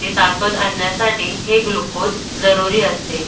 ते ताकद आणण्यासाठी हे ग्लुकोज जरुरी असते.